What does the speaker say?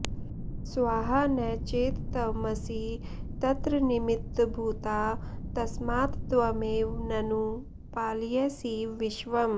स्वाहा न चेत्त्वमसि तत्र निमित्तभूता तस्मात्त्वमेव ननु पालयसीव विश्वम्